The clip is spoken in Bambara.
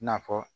I na fɔ